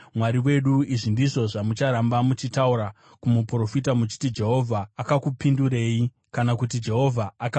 Izvi ndizvo zvamucharamba muchitaura kumuprofita muchiti: ‘Jehovha akakupindurei?’ kana kuti ‘Jehovha akataurei?’